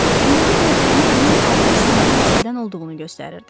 Ümumi görkəmi onun adlı sanlı nəsildən olduğunu göstərirdi.